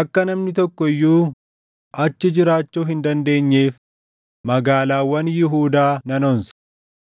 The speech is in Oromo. akka namni tokko iyyuu achi jiraachuu hin dandeenyeef magaalaawwan Yihuudaa nan onsa.”